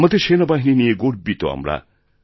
আমাদের সেনাবাহিনী নিয়ে গর্বিত আমরা